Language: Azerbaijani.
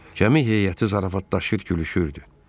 Gəmi heyəti zarafatlaşır, gülüşürdü.